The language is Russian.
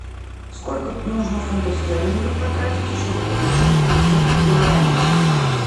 сколько нужно фунтов стерлингов потратить чтобы получить пятьсот гуарани